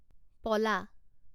পলা